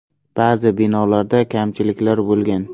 Ba’zi binolarda kamchiliklar bo‘lgan.